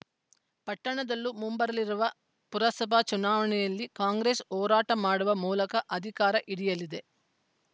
ಪಟ್ಟಣದ್ಲಲೂ ಮುಂಬರಲಿರುವ ಪುರಸಭಾ ಚುನಾವಣೆಯಲ್ಲಿ ಕಾಂಗ್ರೆಸ್‌ ಹೋರಾಟ ಮಾಡುವ ಮೂಲಕ ಅಧಿಕಾರ ಹಿಡಿಯಲಿದೆ